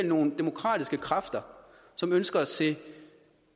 nogle demokratiske kræfter som ønsker at se